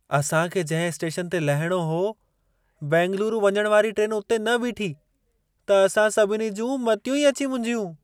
असां खे जंहिं स्टेशन ते लहिणो हो, बेंगलुरु वञणु वारी ट्रेन उते न बीठी, त असां सभिनी जूं मतियूं अची मुंझियूं।